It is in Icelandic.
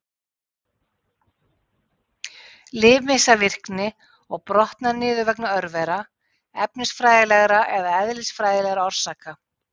Lyf missa virkni og brotna niður vegna örvera, efnafræðilegra eða eðlisfræðilegra orsaka.